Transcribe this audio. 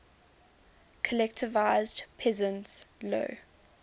collectivized peasants low